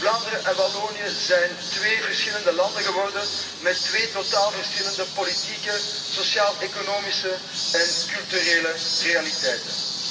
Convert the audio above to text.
Vlaanderen en Wallonië zijn twee verschillende landen geworden met twee totaal verschillende politieke, sociaal economische en culturele realiteiten.